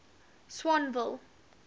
swanville